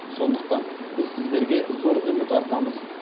сондықтан біз сіздерге зор үміт артамыз